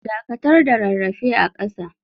Dakatar da rarrafe a kasa.